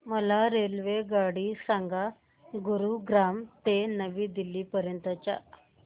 मला रेल्वेगाडी सांगा गुरुग्राम ते नवी दिल्ली पर्यंत च्या